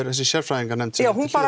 þessi sérfræðinganefnd já hún